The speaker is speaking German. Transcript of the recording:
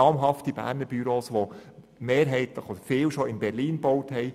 Namhafte Berner Büros haben bereits vielfach in Berlin gebaut.